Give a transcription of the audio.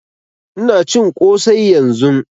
Ina cin kosai yanzun